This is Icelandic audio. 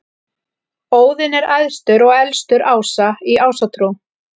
Óðinn er æðstur og elstur ása í Ásatrú.